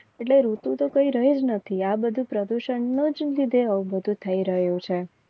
એટલે ઋતુ તો કઈ રહી જ નથી આ બધું પ્રદૂષણ ને લીધે જ થઈ રહ્યો છે.